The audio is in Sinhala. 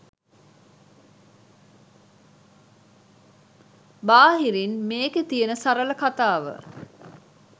බාහිරින් මේකෙ තියෙන සරල කතාව